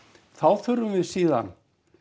þá þurfum við síðan